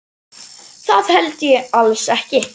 Það held ég alls ekki.